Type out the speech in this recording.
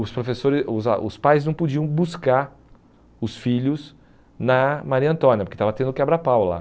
Os professores os ah os pais não podiam buscar os filhos na Maria Antônia, porque estava tendo quebra-pau lá.